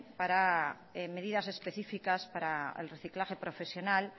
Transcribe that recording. para medidas específicas para el reciclaje profesional